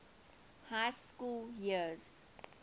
high school years